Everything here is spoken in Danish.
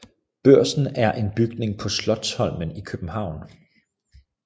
Børsen er en bygning på Slotsholmen i København